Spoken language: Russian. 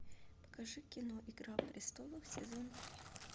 покажи кино игра престолов сезон три